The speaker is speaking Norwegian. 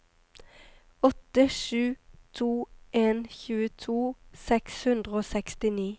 åtte sju to en tjueto seks hundre og sekstini